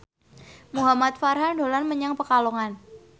Muhamad Farhan dolan menyang Pekalongan